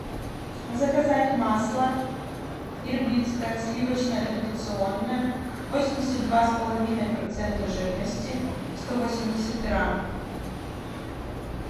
заказать масло ирбитское сливочное традиционное восемьдесят два с половиной процента жирности сто восемьдесят грамм